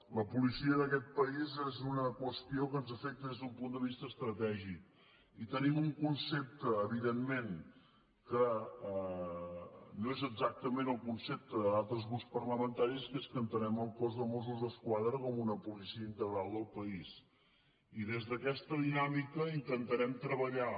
la policia d’aquest país és una qüestió que ens afecta des d’un punt de vista estratègic i tenim un concepte evidentment que no és exactament el concepte d’altres grups parlamentaris que és que entenem el cos de mossos d’esquadra com una policia integral del país i des d’aquesta dinàmica intentarem treballar